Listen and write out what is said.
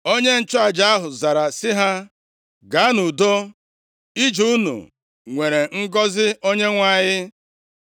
Onye nchụaja ahụ zara sị ha, “Gaa nʼudo. Ije unu nwere ngọzị Onyenwe anyị.”